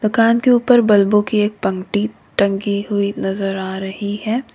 मकान के ऊपर बल्बों की एक पंक्ति टंगी हुई नजर आ रही है।